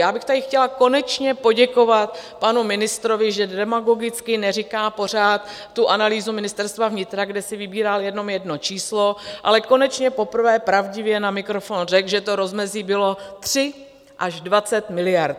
Já bych tady chtěla konečně poděkovat panu ministrovi, že demagogicky neříká pořád tu analýzu Ministerstva vnitra, kde si vybíral jenom jedno číslo, ale konečně poprvé pravdivě na mikrofon řekl, že to rozmezí bylo 3 až 20 miliard.